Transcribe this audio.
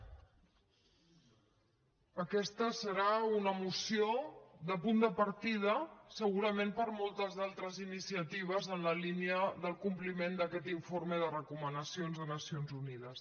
aquesta serà una moció de punt de partida segurament per a moltes d’altres iniciatives en la línia del compliment d’aquest informe de recomanacions de nacions unides